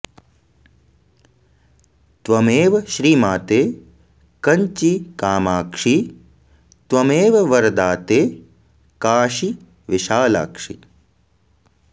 त्वमेव श्रीमाते कञ्चि कामाक्षि त्वमेव वरदाते काशी विशालाक्षि